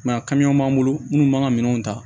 a b'an bolo munnu b'an ka minɛnw ta